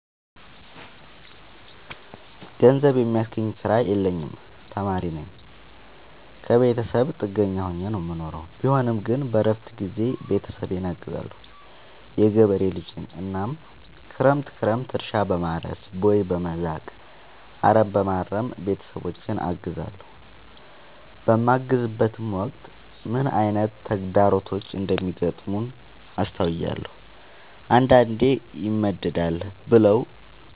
ገንዘብ የሚያስገኝ ስራ የለኝም ተማሪነኝ ከብተሰብ ጥገኛ ሆኜ ነው የምኖረው ቢሆንም ግን በረፍት ጊዜዬ ቤተሰብን አግዛለሁ። የገበሬ ልጅነኝ እናም ክረምት ክረምት እርሻ፣ በማረስ፣ ቦይ፣ በመዛቅ፣ አረምበማረም ቤተሰቦቼን አግዛለሁ። በማግዝበትም ወቅት ምን አይነት ተግዳሮቶች እንደሚገጥሙት አስተውያለሁ። አንዳንዴ ይመደዳል ብለው